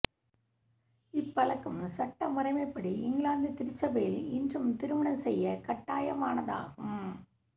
இப்பழக்கம் சட்ட முறைமைப்படி இங்கிலாந்து திருச்சபையில் இன்றும் திருமணம் செய்ய கட்டாயமானதாகும்